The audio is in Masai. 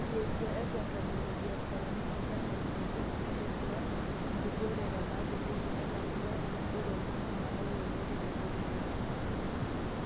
isiet tiatu tomon oo biasharani e Germany te Kenya netodua nkibooreta naapoyieki enaa embayee naboo toronok nayaua olmetai le Covid-19.